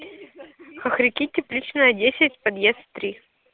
хохряки тепличная десять подъезд три